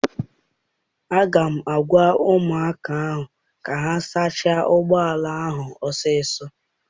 Aga m agwa ụmụaka ahụ ka ha sachaa ụgbọala ahụ ọsọ ọsọ!